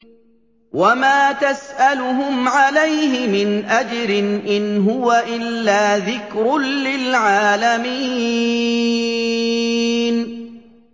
وَمَا تَسْأَلُهُمْ عَلَيْهِ مِنْ أَجْرٍ ۚ إِنْ هُوَ إِلَّا ذِكْرٌ لِّلْعَالَمِينَ